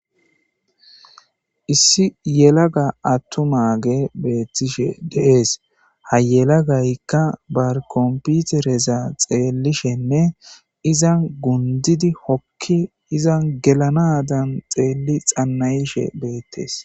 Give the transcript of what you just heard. issi yelaga attumaage beettishe de'ees ha yelagaykka ba komputereza xeellishenne izan gundidi hokki izan gelanadan xeelli xanna'ishe beettees